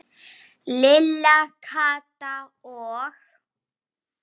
Lilla, Kata og